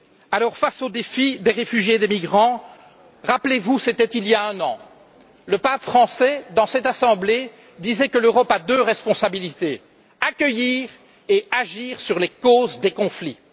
Alors, face au défi des réfugiés et des migrants, rappelez vous, c'était il y a un an, le pape François dans cette assemblée disait que l'Europe a deux responsabilités accueillir et agir sur les causes des conflits.